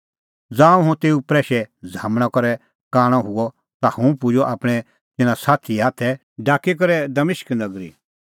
ज़ांऊं हुंह तेऊ प्रैशे झ़ामणा करै कांणअ हुअ ता हुंह पुजअ आपणैं तिन्नां साथीए हाथ ढाकी करै दमिश्क नगरी